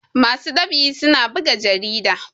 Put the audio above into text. masu ɗab'i suna buga jarida